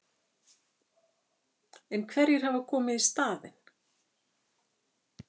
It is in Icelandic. En hverjir hafa komið í staðinn?